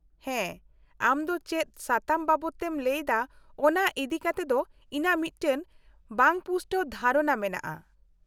-ᱦᱮᱸ, ᱟᱢ ᱫᱚ ᱪᱮᱫ ᱥᱟᱛᱟᱢ ᱵᱟᱵᱚᱫᱛᱮᱢ ᱞᱟᱹᱭᱮᱫᱟ ᱚᱱᱟ ᱤᱫᱤ ᱠᱟᱛᱮᱫ ᱤᱧᱟᱹᱜ ᱢᱤᱫᱴᱟᱝ ᱵᱟᱝᱯᱩᱥᱴᱟᱹᱣ ᱫᱷᱟᱨᱚᱱᱟ ᱢᱮᱱᱟᱜᱼᱟ ᱾